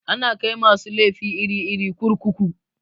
Ana kai masu laifi iri-iri kurkuku.